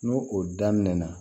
N'o o daminɛna